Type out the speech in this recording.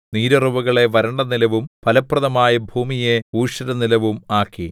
നീരുറവുകളെ വരണ്ടനിലവും ഫലപ്രദമായ ഭൂമിയെ ഊഷരനിലവും ആക്കി